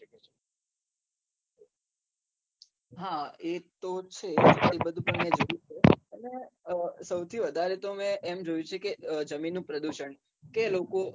હા એ તો છે એ બધું પણ મેં જોયું છે અને સૌથી વધારે તો મેં એમ જોયું છે કે જમીનનું પ્રદુષણ કે લોકો